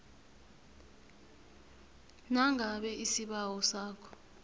nangabe isibawo sakho